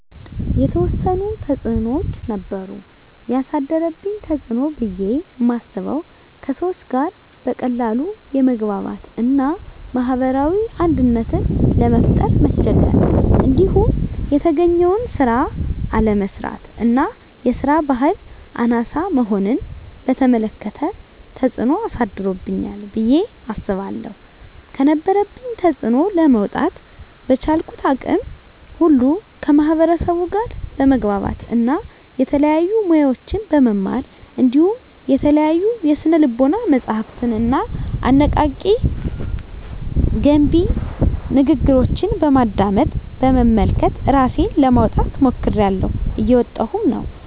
የተዎሰኑ ተፅኖዎች ነበሩ። የአሳደረብኝ ተፅኖ ብየ ማስበው:- ከሰዎች ጋር በቀላሉ የመግባባት እና ማህበራዊ አንድነትን ለመፍጠር መቸገር። እንዲሁም የተገኘውን ስራ አለመስራት እና የስራ በህል አናሳ መሆንን በተመለከተ ተፅኖ አሳድሮብኛል ብየ አስባለሁ። ከነበረብኝ ተፅኖ ለመውጣ:- በቻልኩት አቅም ሁሉ ከማህበርሰቡ ጋር በመግባባት እና የተለያዩ ሙያዎችን በመማር እንዲሁም የተለያዩ የስነ ልቦና መፀሀፍትንና አነቃ፣ ገንቢ ንግግሮችን በማድመጥ፣ በመመልከት እራሴን ለማውጣት ሞክሬላሁ። እየወጣሁም ነው።